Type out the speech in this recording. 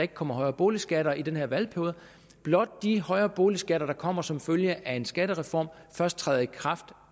kommer højere boligskatter i den her valgperiode blot de højere boligskatter der kommer som følge af en skattereform først træder i kraft